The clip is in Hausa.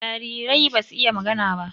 Jarirai basu iya magana ba.